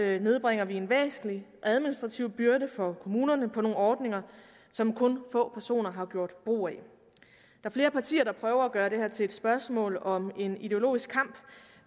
det nedbringer vi en væsentlig administrativ byrde for kommunerne med nogle ordninger som kun få personer har gjort brug af der er flere partier der prøver at gøre det her til et spørgsmål om en ideologisk kamp